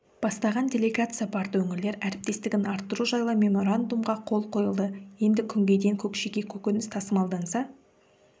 бастаған делегация барды өңірлер әріптестігін арттыру жайлы меморандумға қол қойылды енді күнгейден көкшеге көкөніс тасымалданса